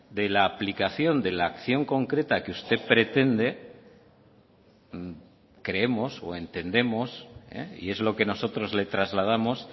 de la aplicación de la acción concreta que usted pretende creemos o entendemos y es lo que nosotros le trasladamos